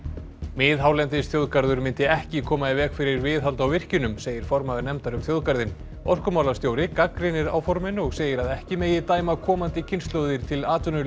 miðhálendisþjóðgarður myndi ekki koma í veg fyrir viðhald á virkjunum segir formaður nefndar um þjóðgarðinn orkumálastjóri gagnrýnir áformin og segir að ekki megi dæma komandi kynslóðir til atvinnuleysis